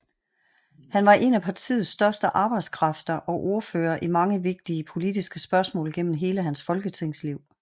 Han var en af partiets største arbejdskræfter og ordfører i mange vigtige politiske spørgsmål gennem hele hans folketingsliv